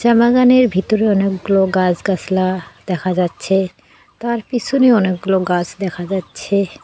চা বাগানের ভিতরে অনেকগুলো গাছ গাছলা দেখা যাচ্ছে তার পিছনে অনেকগুলো গাছ দেখা যাচ্ছে।